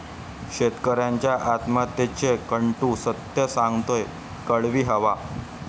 शेतकऱ्यांच्या आत्महत्येचं कटू सत्य सांगतोय 'कडवी हवा'